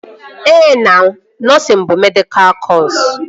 Ehe na, nọsịn bụ medịkal kọsu